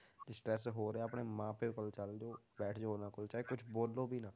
ਜੇ stress ਹੋ ਰਿਹਾ ਆਪਣੇ ਮਾਂ ਪਿਓ ਕੋਲ ਚੱਲ ਜਾਓ ਬੈਠ ਜਾਓ ਉਹਨਾਂ ਕੋਲ ਚਾਹੇ ਕੁਛ ਬੋਲੋ ਵੀ ਨਾ।